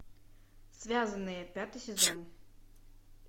связанные пятый сезон